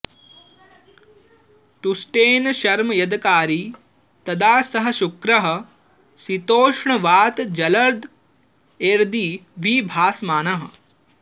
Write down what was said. तुष्टेन शर्म यदकारि तदा स शुक्रः शीतोष्णवातजलदैर्दिवि भासमानः